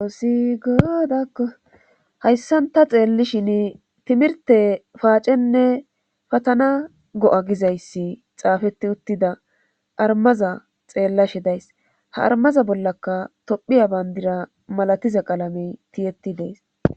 Oossi goodakko hayssanta xeellishin timirte paacenne patana go7a gizayssi xaafeti uttida armaza xeellashe days ha armaza bollaka tophiya bayndira malatiza qalamey tiyetti dees.